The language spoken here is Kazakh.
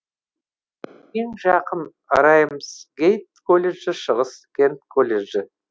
ең жақын рамсгейт колледжі шығыс кент колледжі